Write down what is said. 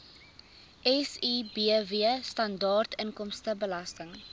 sibw standaard inkomstebelasting